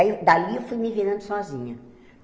Aí eu, dali, eu fui me virando sozinha.